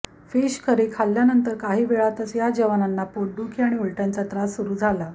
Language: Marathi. फिश करी खाल्ल्यानंतर काही वेळातच या जवानांना पोटदुखी आणि उलट्यांचा त्रास सुरू झाला